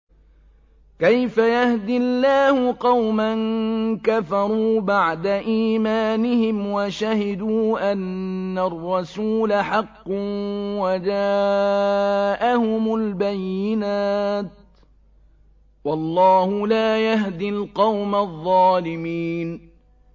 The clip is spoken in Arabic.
كَيْفَ يَهْدِي اللَّهُ قَوْمًا كَفَرُوا بَعْدَ إِيمَانِهِمْ وَشَهِدُوا أَنَّ الرَّسُولَ حَقٌّ وَجَاءَهُمُ الْبَيِّنَاتُ ۚ وَاللَّهُ لَا يَهْدِي الْقَوْمَ الظَّالِمِينَ